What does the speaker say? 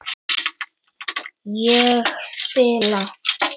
Ég spila!